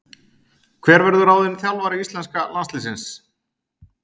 Hver verður ráðinn þjálfari íslenska landsliðsins?